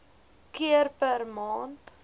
keer per maand